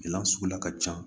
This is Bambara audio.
suguya ka ca